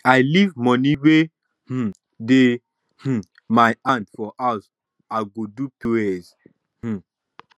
i leave money wey um dey um my hand for house now i go do pos um